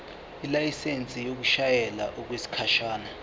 ilayisensi yokushayela okwesikhashana